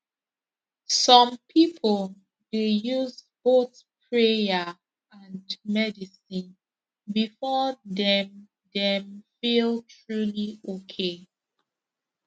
some people dey use both prayer and medicine before dem dem feel truly okay